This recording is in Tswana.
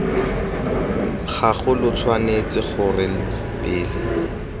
gago lo tshwanetse gore pele